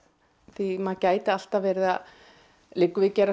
því maður gæti alltaf verið að liggur við gera